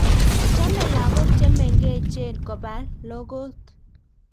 Chomei lagok che mengechen koba lokot